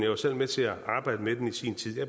var selv med til at arbejde med den i sin tid og